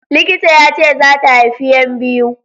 Likita yace zata haifi yan biyu